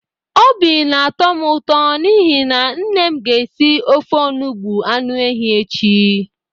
Obi na-atọ m ụto n'ihi na nne m ga-esi ofe onugbu anụ ehi echi.